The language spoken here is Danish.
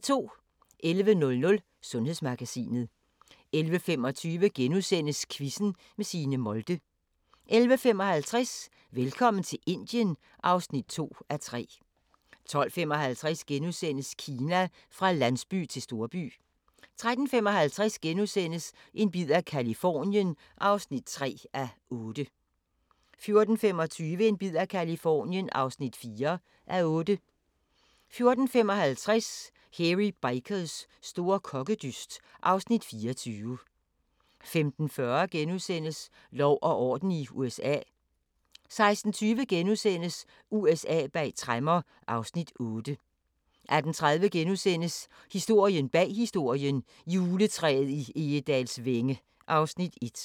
11:00: Sundhedsmagasinet 11:25: Quizzen med Signe Molde * 11:55: Velkommen til Indien (2:3) 12:55: Kina: Fra landsby til storby * 13:55: En bid af Californien (3:8)* 14:25: En bid af Californien (4:8) 14:55: Hairy Bikers store kokkedyst (Afs. 24) 15:40: Lov og orden i USA * 16:20: USA bag tremmer (Afs. 8)* 18:30: Historien bag historien: Juletræet i Egedalsvænge (Afs. 1)*